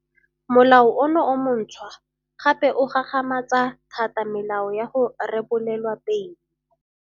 Molao ono o montšhwa gape o gagamatsa thata melao ya go rebolelwa beile.